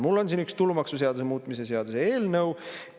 Mul on siin üks tulumaksuseaduse muutmise seaduse eelnõu.